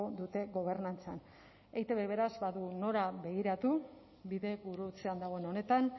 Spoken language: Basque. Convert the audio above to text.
dute gobernantzan eitb beraz badu nora begiratu bidegurutzean dagoen honetan